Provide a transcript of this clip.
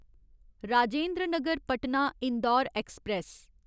Rajendra Nagar Patna Indore express